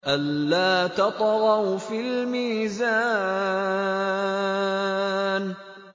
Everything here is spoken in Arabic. أَلَّا تَطْغَوْا فِي الْمِيزَانِ